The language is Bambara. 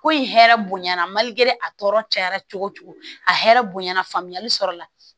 Ko in hɛrɛ bonya na mali a tɔɔrɔ cayara cogo cogo a hɛrɛ bonyana faamuyali sɔrɔla